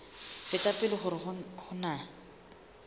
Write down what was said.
feta pele hore ho na